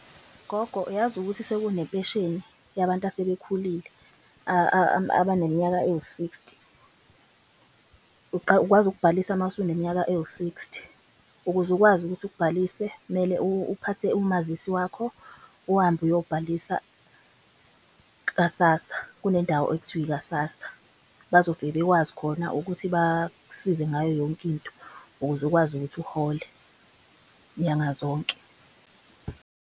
Gogo, yazi ukuthi sekunempesheni yabantu asebekhulile abaneminyaka ewu-sixty ukwazi ukubhalisa mase uneminyaka ewu-sixty. Ukuze ukwazi ukuthi uk'bhalise kumele uphathe umazisi wakho uhambe uyobhalisa kaSassa kunendawo ekuthiwa ikaSassa. Bazofike bekwazi khona ukuthi bak'size ngayo yonke into ukuze ukwazi ukuthi uhole nyanga zonke.